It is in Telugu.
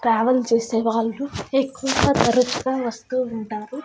ట్రావెల్ చేసే వాళ్ళు ఎక్కువగా తరుచుగా వస్తూ ఉంటారు.